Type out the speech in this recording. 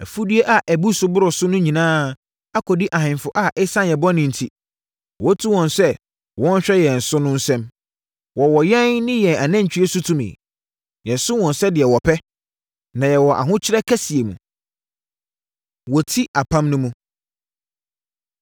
Afudeɛ a ɛbu so boro so no nyinaa akɔdi ahemfo a ɛsiane yɛn bɔne enti, woatu wɔn sɛ wɔnhwɛ yɛn so no nsam. Wɔwɔ yɛn ne yɛn anantwie so tumi. Yɛsom wɔn sɛdeɛ wɔpɛ, na yɛwɔ ahokyere kɛseɛ mu. Wɔti Apam No Mu